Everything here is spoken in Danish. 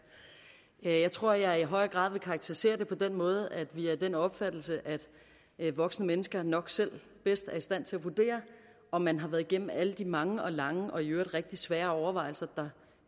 jeg tror at jeg i høj grad vil karakterisere det på den måde at vi er af den opfattelse at voksne mennesker nok selv bedst er i stand til at vurdere om man har været igennem alle de mange og lange og i øvrigt rigtig svære overvejelser der